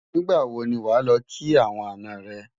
nígbà wò ní wà ló kí àwọn àná rè